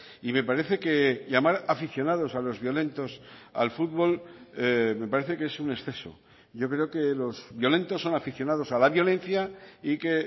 y me parece que llamar aficionados a los violentos al fútbol me parece que es un exceso yo creo que los violentos son aficionados a la violencia y que